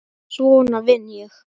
Svona vinn ég.